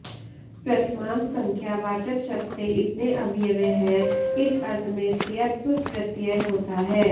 प्रथमान्त संख्या वाचक शब्द से इतने अवयव हैं इस अर्थ में तयप प्रत्यय होता है